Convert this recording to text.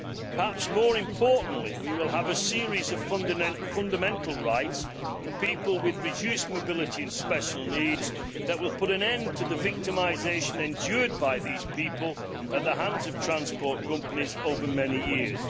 Perhaps more importantly, we will have a series of fundamental rights for people with reduced mobility and special needs that will put an end to the victimisation endured by these people at the hands of transport companies over many years.